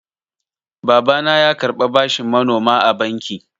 Babana ya karɓa bashin manoma a banki.